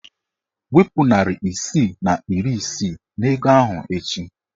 Wepu narị isii na iri isii n'ego ahụ echi!